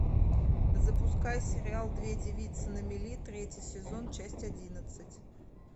запускай сериал две девицы на мели третий сезон часть одиннадцать